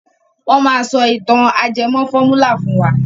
Wọ́n maá sọ ìtàn ajẹmọ́ fọ́múlà fún wa.